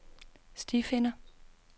stifinder